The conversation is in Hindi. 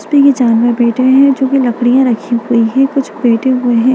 इस पे ये जानवर बैठे है जो भी लकड़ियां रखी हुई है कुछ बैठें हुए हैं।